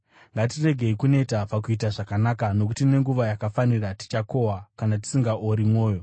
Ngatiregei kuneta pakuita zvakanaka, nokuti nenguva yakafanira tichakohwa kana tisingaori mwoyo.